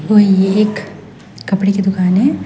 और यह एक कपड़े की दुकान है।